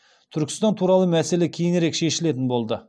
түркістан туралы мәселе кейінірек шешілетін болды